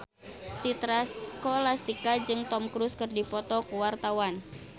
Citra Scholastika jeung Tom Cruise keur dipoto ku wartawan